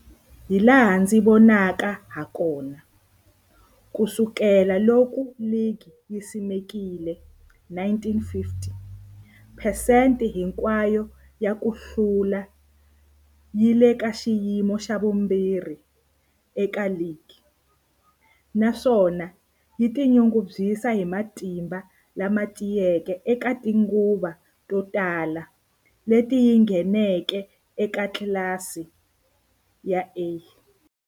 Hilaha ndzi nga vona hakona, ku sukela loko ligi yi simekiwile, 1950, phesente hinkwayo ya ku hlula yi le ka xiyimo xa vumbirhi eka ligi, naswona yi tinyungubyisa hi matimba lama tiyeke eka tinguva to tala leti yi ngheneke eka tlilasi ya A.